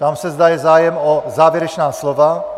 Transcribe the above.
Ptám se, zda je zájem o závěrečná slova.